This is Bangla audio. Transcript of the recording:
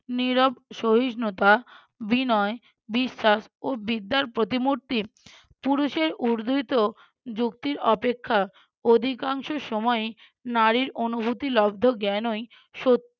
নীরব সহিষ্ণুতা, বিনয়, বিশ্বাস ও বিদ্যার প্রতিমূর্তি। পুরুষের উর্দ্ধৃত যুক্তির অপেক্ষা অধিকাংশ সময়ই নারীর অনুভূতি লব্ধ জ্ঞানই সত্য